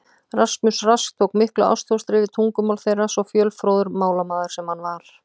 Rasmus Rask tók miklu ástfóstri við tungumál þeirra, svo fjölfróður málamaður sem hann var.